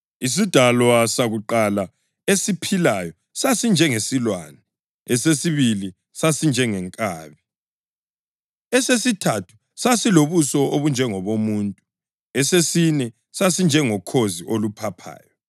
Isidalwa sakuqala esiphilayo sasinjengesilwane, esesibili sinjengenkabi, esesithathu sasilobuso obunjengobomuntu, esesine sasinjengokhozi oluphaphayo.